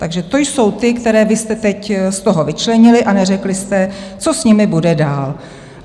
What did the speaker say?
Takže to jsou ti, které vy jste teď z toho vyčlenili a neřekli jste, co s nimi bude dál.